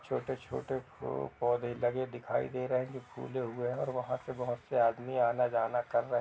छोटे-छोटे फूल पौधे लगे दिखाई दे रहे है जो फूले हुए है वहाँ पे बहुत से आदमी आना जाना कर रहे है।